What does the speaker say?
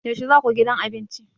Yaushe za ku gidan abinci?